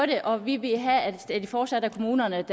det og vi vil have at det fortsat er kommunerne